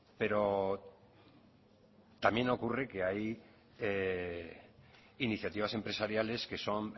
pero también ocurre que hay iniciativas empresariales que son